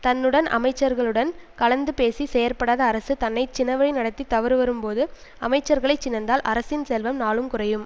தன் உடன் அமைச்சர்களுடன் கலந்து பேசிச் செயற்படாத அரசு தன்னை சினவழி நடத்தித் தவறு வரும்போது அமைச்சர்களைச் சினந்தால் அரசின் செல்வம் நாளும் குறையும்